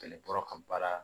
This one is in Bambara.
Kɛlɛ bɔra ka baara